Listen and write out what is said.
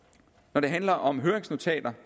når det handler om høringsnotater